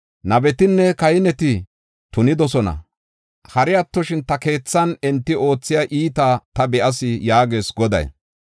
“Nabetinne kahineti tunidosona; hari attoshin ta keethan enti oothiya iitaa ta be7as” yaagees Goday.